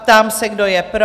Ptám se, kdo je pro?